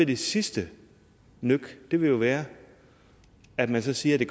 det sidste nøk ville være at man så siger at det